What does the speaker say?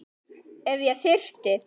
Ef ég þyrfti.